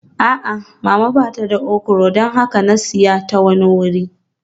A'a, Mama ba ta da okra don haka na siya ta wani wuri